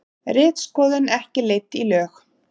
Ritskoðun ekki leidd í lög